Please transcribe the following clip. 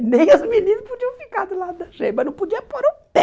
E nem os meninos podiam ficar do lado da gente, mas não podia pôr o pé.